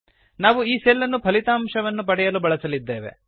ನಾವು ಈ ಸೆಲ್ ಅನ್ನು ಫಲಿತಾಂಶವನ್ನು ಪಡೆಯಲು ಬಳಸಲಿದ್ದೇವೆ